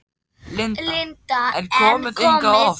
Linda: En komið þið hingað oft?